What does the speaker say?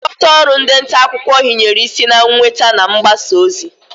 Nchịkọta ọrụ ndị ntaakụkọ hinyere isi na nnweta na mgbasa ozi